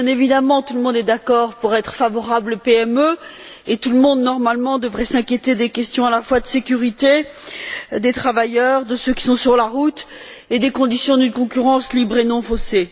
Bien évidemment, tout le monde est d'accord pour être favorable aux PME et tout le monde, normalement, devrait s'inquiéter des questions à la fois de sécurité, des travailleurs, de ceux qui sont sur la route et des conditions d'une concurrence libre et non faussée.